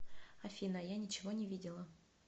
афина я ничего не видела